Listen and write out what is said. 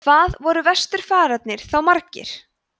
hvað voru vesturfararnir þá margir